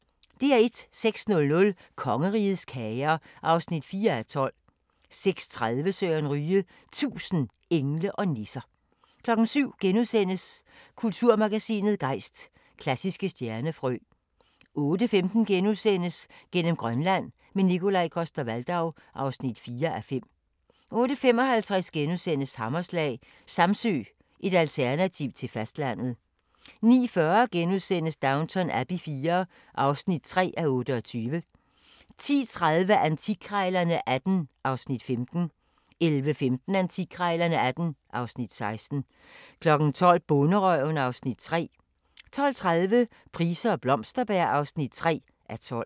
06:00: Kongerigets kager (4:12) 06:30: Søren Ryge – 1000 engle og nisser 07:00: Kulturmagasinet Gejst: Klassiske stjernefrø * 08:15: Gennem Grønland – med Nikolaj Coster-Waldau (4:5)* 08:55: Hammerslag – Samsø, et alternativ til fastlandet * 09:40: Downton Abbey IV (3:28)* 10:30: Antikkrejlerne XVIII (Afs. 15) 11:15: Antikkrejlerne XVIII (Afs. 16) 12:00: Bonderøven (Afs. 3) 12:30: Price og Blomsterberg (3:12)